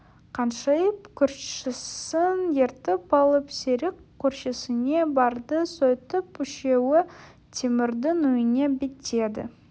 қаншайым көршісін ертіп алып серік көршісіне барды сөйтіп үшеуі темірдің үйіне беттеді